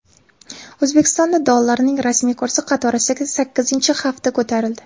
O‘zbekistonda dollarning rasmiy kursi qatorasiga sakkizinchi hafta ko‘tarildi.